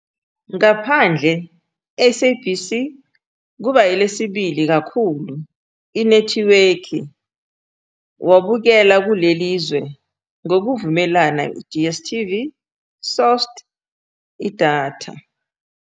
Ngaphandle-SABC, kuba lesibili kakhulu inethiwekhi wabukela kuleli zwe, ngokuvumelana DStv -sourced idatha.